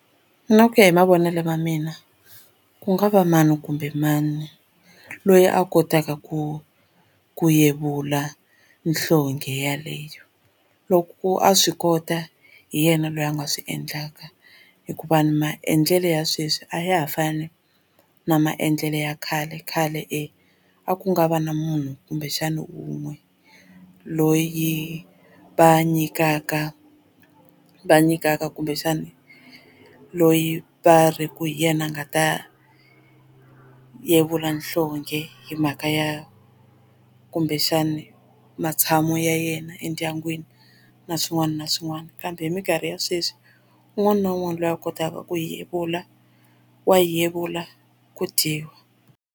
Na ku ya hi mavonelo ma mina ku nga va mani kumbe mani loyi a kotaka ku ku yevula nhlonghe yeleyo loko a swi kota hi yena loyi a nga swi endlaka hikuva maendlelo ya sweswi a ya ha fani na maendlelo ya khale khale e a ku nga va na munhu kumbexana wun'we loyi va nyikaka va nyikaka kumbexani loyi va ri ku hi yena a nga ta hi yevula nhlonghe hi mhaka ya kumbexani matshamo ya yena endyangwini na swin'wana na swin'wana kambe hi minkarhi ya sweswi un'wana na un'wana loyi a kotaka ku yevula wa yevula ku dyiwa.